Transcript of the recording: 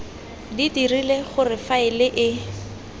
di dirile gore faele e